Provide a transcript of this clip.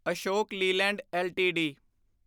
Ashok Leyland LTD